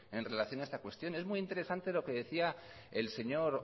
en relación a esta cuestión es muy interesante lo que decía el señor